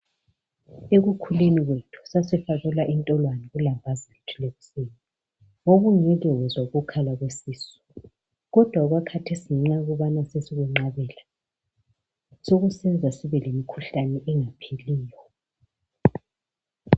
Ekukhuleni kwethu sasifakelwa intolwane kulambazi lethu lekuseni , wawungeke wezwa ukukhala kwesisu kodwa okwakathesi ngenxa yokubana sesikwenqabela sokusenza sibe lemikhuhlane engapheliyo.